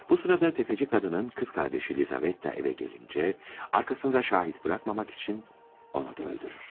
Bu sırada tefeci kadının kız kardeşi Lizavetta eve gelince, arkasında şahit bırakmamak için onu da öldürür.